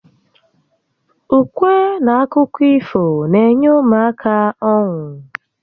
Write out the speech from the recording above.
Ukwe n akụkọ ifo n'enye ụmụaka ọnu